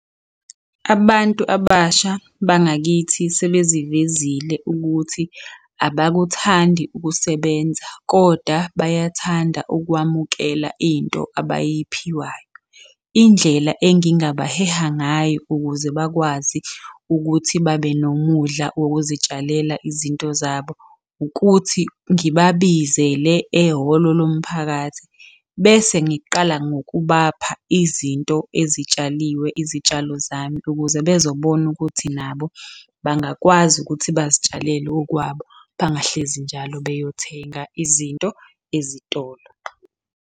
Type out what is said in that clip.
Abantu abasha bangakithi sebezivezile ukuthi abakuthandi ukusebenza, kodwa bayathanda ukwamukela into abayiphiwayo. Indlela engingabaheha ngayo ukuze bakwazi ukuthi babe nomudla wokuzitshalela izinto zabo, ukuthi ngibabizele ehholo lomphakathi. Bese ngiqala ngokubapha izinto ezitshaliwe, izitshalo zami ukuze bezobona ukuthi nabo bangakwazi ukuthi bazitshalele okwabo, bangahlezi njalo beyothenga izinto ezitolo.